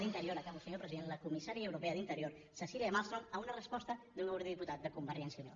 d’interior acabo senyor president la comissària europea d’interior cecilia malmström a una resposta d’un eurodiputat de convergència i unió